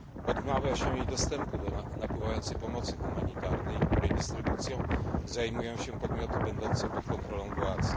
Odmawia się jej dostępu do napływającej pomocy humanitarnej, której dystrybucją zajmują się podmioty będące pod kontrolą władz.